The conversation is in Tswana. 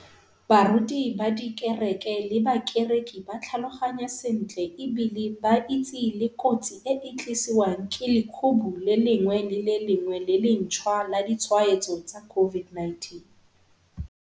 Baruti ba dikereke le bakereki ba tlhaloganya sentle e bile ba itse le kotsi eo e tlisiwang ke lekhubu le lengwe le le lengwe le lentšhwa la ditshwaetso tsa COVID-19.